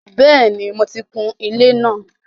Bẹ́ẹ̀ni, mo ti kun ilé náà.